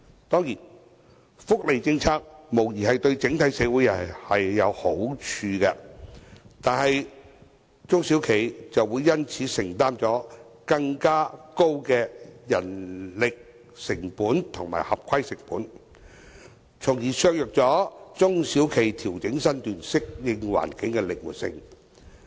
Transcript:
當然，福利政策無疑對整體社會有好處，但中小企卻會因此承擔更高人力成本和合規成本，從而削弱中小企調整身段，適應環境的靈活性。